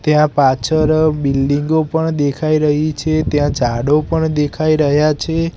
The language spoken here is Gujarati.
ત્યાં પાછળ બિલ્ડીંગો પણ દેખાય રહી છે ત્યાં ઝાડો પણ દેખાય રહ્યા છે.